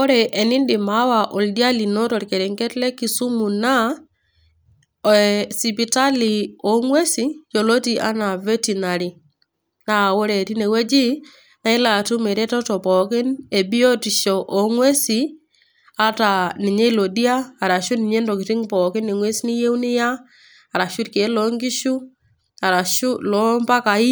Oreenidim awa oldia lino torkerenget le kisumu naa aa sipitali oonngwesin yioloti anaa veterinary .Naa ore tine wueji naa ilo atum ereteto pookin ebiotisho ongwesin ata ninye ilo dia arashu ninye ntokitin pookin ,engwes niyieu niya arashu irkieek loo nkishu arashu loo mpakai